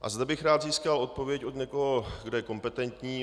A zde bych rád získal odpověď od někoho, kdo je kompetentní.